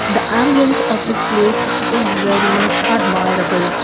the ambience of this place is very much admirable.